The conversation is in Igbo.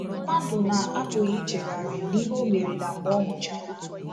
Mmadụ na-apụghị ichegharị n’ihe o merela mgbe ọ nwụchara.